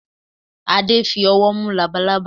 Adé fi ọwọ́ mú labalaba.